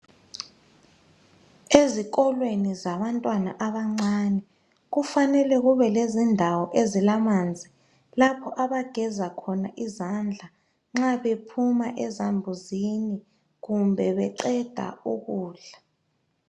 Ezikolweni zabantwana abancane kufanele kube lendawo ezilamamanzi lapho abagezakhona izandla nxa bephuma ezambuzini kumbe beqeda ukudla.